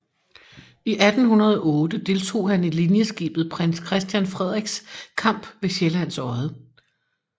I 1808 deltog han i linjeskibet Prins Christian Frederiks kamp ved Sjællands Odde